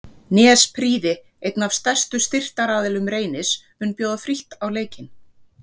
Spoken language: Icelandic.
Nesprýði einn af stærstu styrktaraðilum Reynis mun bjóða frítt á leikinn.